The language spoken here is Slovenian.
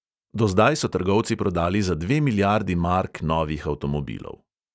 Do zdaj so trgovci prodali za dve milijardi mark novih avtomobilov.